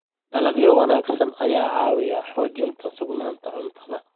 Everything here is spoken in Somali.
Dalagyo wanaagsan ayaa ka caawiya xoojinta sugnaanta cuntada.